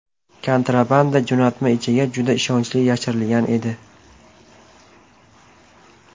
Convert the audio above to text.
Kontrabanda jo‘natma ichiga juda ishonchli yashirilgan edi.